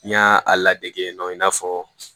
N y'a ladege yen nɔ i n'a fɔ